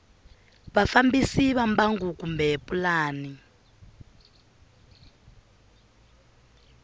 vafambisi va mbangu kumbe pulani